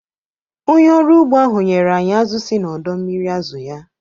Onye ọrụ ugbo ahụ nyere anyị azụ̀ si n'ọdọ mmiri azụ̀ ya